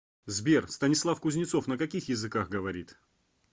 сбер станислав кузнецов на каких языках говорит